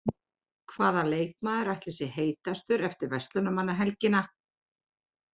Hvaða leikmaður ætli sé heitastur eftir Verslunarmannahelgina?